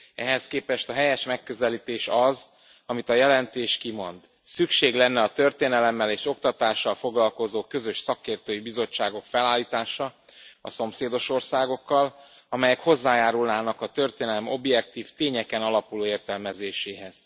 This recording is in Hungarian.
Ehhez képest a helyes megközelítés az, amit a jelentés kimond szükség lenne a történelemmel és oktatással foglalkozó közös szakértői bizottságok felállítása a szomszédos országokkal, amelyek hozzájárulnának a történelem objektív, tényeken alapuló értelmezéséhez.